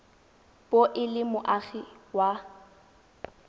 bo e le moagi wa